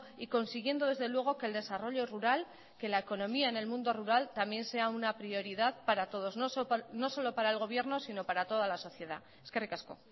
y consiguiendo desde luego que el desarrollo rural que la economía en el mundo rural también sea una prioridad para todos no solo para el gobierno si no para toda la sociedad eskerrik asko